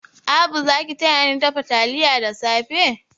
Abu za ki tayani dafa taliya da safe?